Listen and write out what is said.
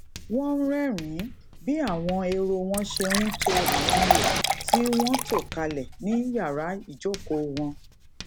wón ń rérìnín bí àwọn ehoro wọn ṣe ń to àwọn iho tí wón to kalè ní yàrá ijokoo won